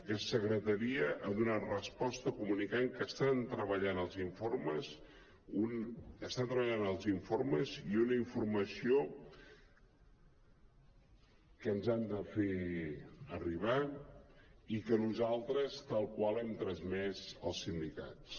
aquesta secretaria ha donat resposta comunicant que estan treballant en els informes i una informació que ens han de fer arribar i que nosaltres tal qual hem transmès als sindicats